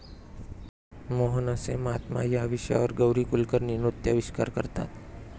मोहनसे महात्मा' या विषयावर गौरी कुलकर्णी नृत्याविष्कार करतात.